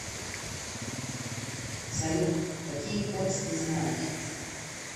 салют какие кодс ты знаешь